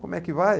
Como é que vai?